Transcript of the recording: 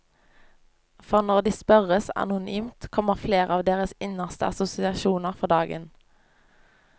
For når de spørres anonymt, kommer flere av deres innerste assosiasjoner for dagen.